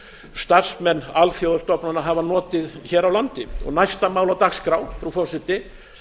starfsmenn alþjóðastofnana hafa notið hér á landi næsta mál á dagskrá frú forseti